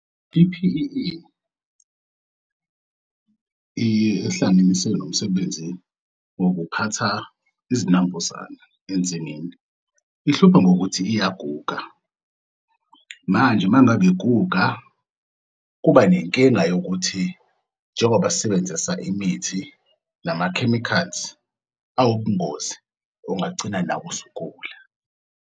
I-P_E_E ihlanganise nomsebenzi wokuphatha izinambuzane ensimini, ihlupha ngokuthi iyaguga. Manje uma ngabe iguga, kuba nenkinga yokuthi njengoba sisebenzisa imithi, lama-chemicals awubungozi, ungagcina nawe usugula.